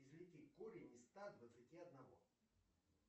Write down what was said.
извлеки корень из ста двадцати одного